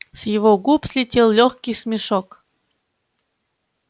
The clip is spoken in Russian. с его губ слетел лёгкий смешок